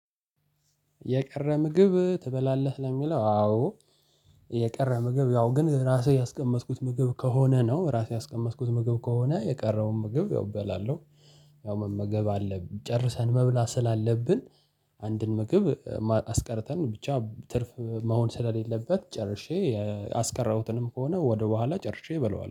የቀረ ምግብ ትበላለህ ለሚለው? አዎ። የቀረ ምግብ ያው ግን ራሴ ያስቀመጥኩት ምግብ ከሆነ ነው፤ ራሴ ያስቀመጥኩት ምግብ ከሆነ፤ የቀረውን ምግብ ያው እበላለሁ። ያው መመገብ አለብን። ጨርሰን መብላት ስላለብን፤ አንድን ምግብ አስቀርተን ብቻ ትርፍ መሆን ስለሌለበት፤ ጨርሼ ያስቀረሁትንም ከሆነ ወደኋላ ጨርሼ እበለዋለሁ።